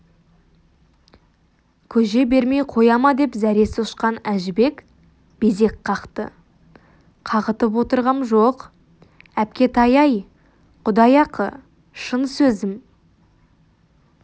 көже бермей қоя ма деп зәресі ұшқан әжібек безек қақты қағытып отырғам жоқ әпкетай-ай құдай ақы шын сөзім